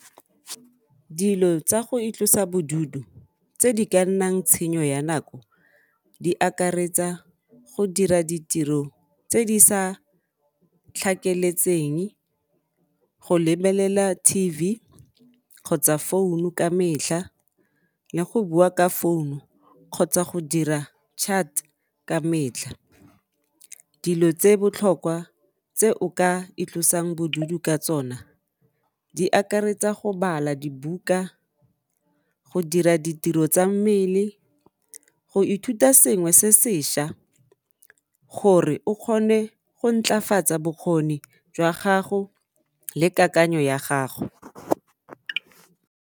Dilo tsa go itlosa bodutu tse di ka nnang tshenyo ya nako di akaretsa go dira ditiro tse di sa tlhakeletseng, go lebelela T_V kgotsa founu ka metlha le go bua ka founu kgotsa go dira chat ka metlha, dilo tse botlhokwa tse o ka itlosang bodutu ka tsona di akaretsa go bala dibuka, go dira ditiro tsa mmele, go ithuta sengwe se seša gore o kgone go ntlafatsa bokgoni jwa gago le kakanyo ya gago